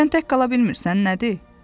Sən tək qala bilmirsən, nədir?